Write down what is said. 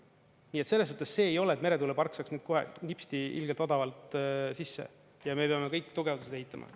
Nii et selles suhtes see ei ole, et meretuulepark saaks nüüd kohe nipsti ilgelt odavalt sisse ja me peame kõik tugevused ehitama.